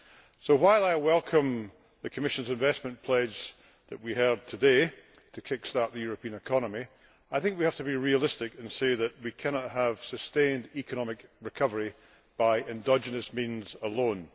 So, while I welcome the Commission's investment pledge that we heard today to kick start the European economy I think we have to be realistic and say that we cannot have sustained economic recovery by endogenous means alone.